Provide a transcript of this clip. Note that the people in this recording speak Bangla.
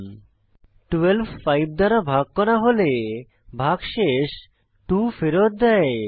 12 5 দ্বারা ভাগ করা হয় এবং ভাগশেষ 2 ফেরৎ দেয়